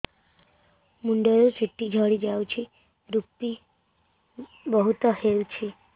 ମୁଣ୍ଡରୁ ଚୁଟି ଝଡି ଯାଉଛି ଋପି ବହୁତ ହେଉଛି